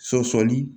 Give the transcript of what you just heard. Sɔsɔli